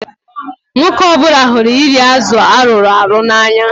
Nwoke ọ bụla hụrụ iri azụ arụrụ arụ n'anya.